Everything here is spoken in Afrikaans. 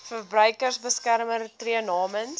verbruikersbeskermer tree namens